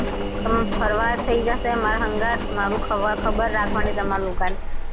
આમ ફરવા થયી જશે માર સંગાથ મારું ખબર રાખવાની તમારે લોકો ને